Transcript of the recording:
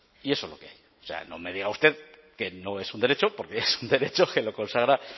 y eso es lo que hay o sea no me diga usted que no es un derecho porque es un derecho que lo consagra